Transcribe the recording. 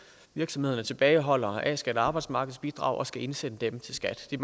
virksomhederne tilbageholder a skat og arbejdsmarkedsbidrag og skal indsende dem til skat det